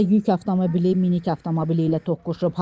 Lənkəranda yük avtomobili minik avtomobili ilə toqquşub.